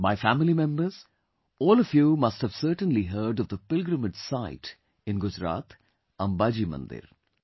My family members, all of you must have certainly heard of the pilgrimage site in Gujarat, Amba Ji Mandir